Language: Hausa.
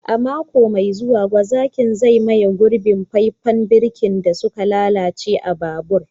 A mako mai zuwa, gwazakin zai maye gurbin faifan birki da suka lalace a kan babur.